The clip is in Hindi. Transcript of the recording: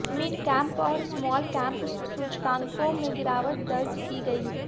मिडकैप और स्मॉलकैप सूचकांकों में गिरावट दर्ज की गई